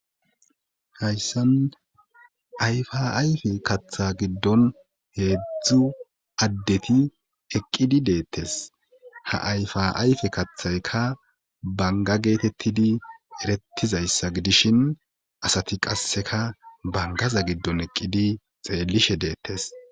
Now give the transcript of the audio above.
hayssan ayfaayfe kaththa giddon heedzdzu addeti eqqidi deettes ha ayfaayfe kathayka banga geetettidi erettizayssa gidishin asati qasseka bangaza giddon eqqidi xeellishe deettes